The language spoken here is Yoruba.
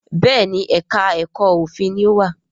Béèni èka èko òfin ní o wá.